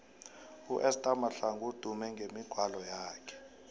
uesther mahlangu udume ngemigwalo yakhe